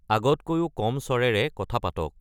আগতকৈও কম স্ৱৰেৰে কথা পাতক